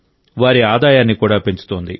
వారి ఆదాయాన్ని కూడా పెంచుతోంది